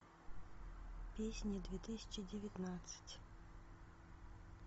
песни две тысячи девятнадцать